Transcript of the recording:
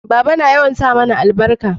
baba na yawan sa mana albarka